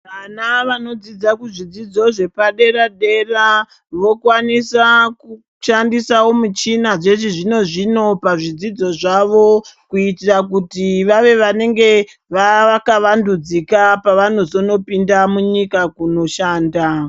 Vana vanodzidza kuzvidzidzo zvepadera dera vokwanisa kushandisa michina yechizvino zvino pazvidzidzo zvavo. Kuitira kuti vave vanenge vakavandudzika kuitira pavanopinda munyika kundoshanda.